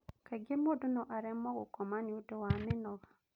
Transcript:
Kaingĩ mũndũ no aremwo gũkoma nĩũndũ wa mĩnoga